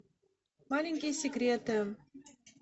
маленькие секреты